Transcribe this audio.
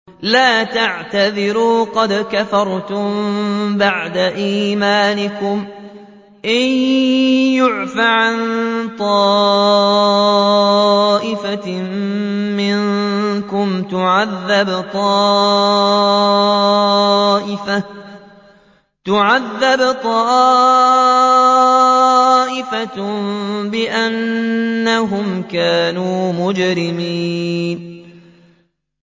لَا تَعْتَذِرُوا قَدْ كَفَرْتُم بَعْدَ إِيمَانِكُمْ ۚ إِن نَّعْفُ عَن طَائِفَةٍ مِّنكُمْ نُعَذِّبْ طَائِفَةً بِأَنَّهُمْ كَانُوا مُجْرِمِينَ